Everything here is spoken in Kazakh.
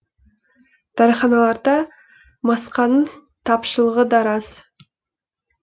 дәріханаларда масканың тапшылығы да рас